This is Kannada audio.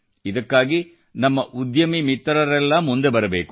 ಇದಕ್ಕಾಗಿ ನಮ್ಮ ಉದ್ಯಮಿ ಮಿತ್ರರೆಲ್ಲಾ ಮುಂದೆ ಬರಬೇಕು